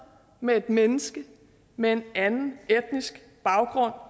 med et menneske med anden etnisk baggrund